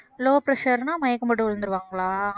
low pressure ன்னா மயக்கம் போட்டு விழுந்துடுவாங்களா